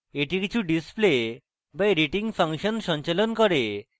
এটি কিছু display বা editing ফাংশন সঞ্চালন করে